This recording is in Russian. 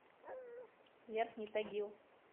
верхний тагил